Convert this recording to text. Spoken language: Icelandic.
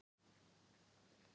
Kikka, hvað er lengi opið í Tríó?